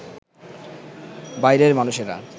বাইরের মানুষেরা